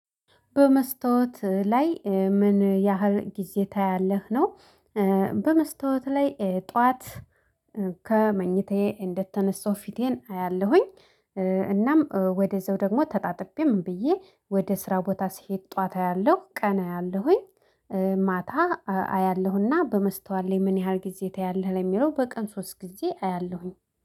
በመስተዋት ላይ ምን ያህል ጊዜ ታያለህ ነው? በመስተዋት ላይ ጠዋት ከመኝታዬ እንደተነሳሁ ፊቴን አያለሁኝ። እናም ወደዛው ደግሞ ተጣጥቤ ምን ብዬ ወደ ስራ ቦታ ሲሄድ ጠዋት አያለሁ ቀና አያለሁኝ። ማታ አያለሁና በመስተዋል ላይ ምን ያህል ጊዜ ታያለህ ለሚለው በቀን ሶስት ጊዜ አያለሁኝ